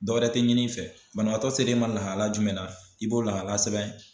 Dɔwɛrɛ tɛ ɲini i fɛ banabaatɔ se l'i ma lahala jumɛn na i b'o lahala sɛbɛn.